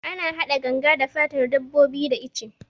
Ana hada ganga da fatan dabbobi da ice